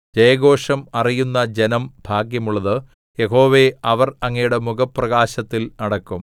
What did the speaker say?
ജയഘോഷം അറിയുന്ന ജനം ഭാഗ്യമുള്ളത് യഹോവേ അവർ അങ്ങയുടെ മുഖപ്രകാശത്തിൽ നടക്കും